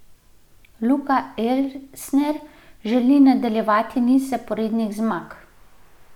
Luka Elsner želi nadaljevati niz zaporednih zmag.